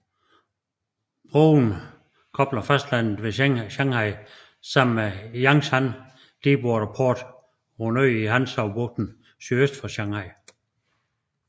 Broen kobler fastlandet ved Shanghai sammen med Yangshan Deepwater Port på en ø i Hangzhoubugten sydøst for Shanghai